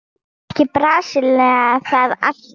Gerir ekki Brasilía það alltaf?